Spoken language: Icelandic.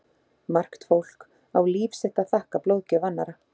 Margt fólk á líf sitt að þakka blóðgjöf annarra.